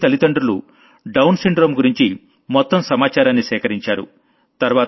అన్వీ తల్లిదండ్రులు Down syndrome గురించి మొత్త సమాచారాన్ని సేకరించారు